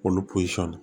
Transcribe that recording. Olu posɔn